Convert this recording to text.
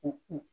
U